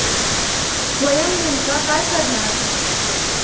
स्वयम नेमका काय करणार?